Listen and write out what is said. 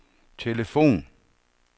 telefon